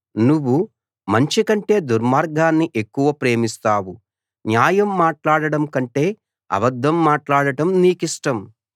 నువ్వు మంచి కంటే దుర్మార్గాన్ని ఎక్కువ ప్రేమిస్తావు న్యాయం మాట్లాడటం కంటే అబద్దం మాట్లాడటం నీకిష్టం